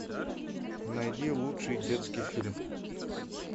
найди лучший детский фильм